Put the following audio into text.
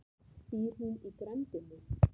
Býr hún í grenndinni?